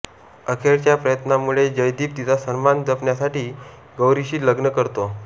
अखेरच्या प्रयत्नांमुळे जयदीप तिचा सन्मान जपण्यासाठी गौरीशी लग्न करतो